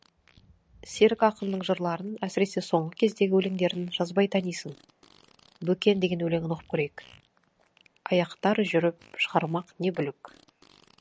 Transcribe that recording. серік ақынның жырларын әсіресе соңғы кездегі өлеңдерін жазбай танисың бөкен деген өлеңін оқып көрейік аяқтар жүріп шығармақ не бүлік